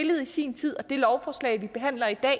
i sin tid og det lovforslag vi behandler i dag